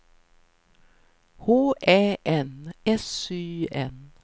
H Ä N S Y N